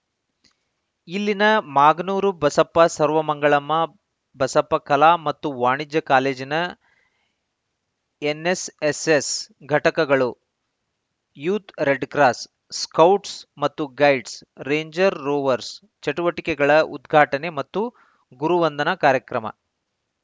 ಇಲ್ಲಿನ ಮಾಗನೂರು ಬಸಪ್ಪ ಸರ್ವಮಂಗಳಮ್ಮ ಬಸಪ್ಪ ಕಲಾ ಮತ್ತು ವಾಣಿಜ್ಯ ಕಾಲೇಜಿನ ಎನ್ನೆಸ್ ಎಸ್ಸೆಸ್‌ ಘಟಕಗಳು ಯೂತ್‌ ರೆಡ್‌ ಕ್ರಾಸ್‌ ಸ್ಕೌಟ್ಸ್‌ ಮತ್ತು ಗೈಡ್ಸ್‌ ರೇಂಜ್‌ರ್ ರೋವರ್ಸ್ ಚಟುವಟಿಕೆಗಳ ಉದ್ಘಾಟನೆ ಮತ್ತು ಗುರುವಂದನಾ ಕಾರ್ಯಕ್ರಮ